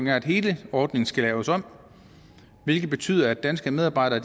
er at hele ordningen skal laves om hvilket betyder at danske medarbejdere